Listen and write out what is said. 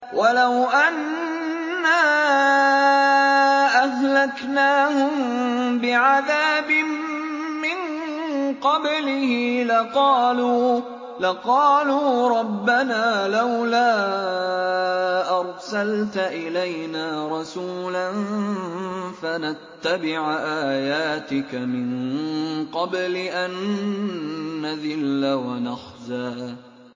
وَلَوْ أَنَّا أَهْلَكْنَاهُم بِعَذَابٍ مِّن قَبْلِهِ لَقَالُوا رَبَّنَا لَوْلَا أَرْسَلْتَ إِلَيْنَا رَسُولًا فَنَتَّبِعَ آيَاتِكَ مِن قَبْلِ أَن نَّذِلَّ وَنَخْزَىٰ